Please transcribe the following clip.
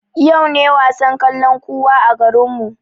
Yau ne wasan kalankuwa a garinmu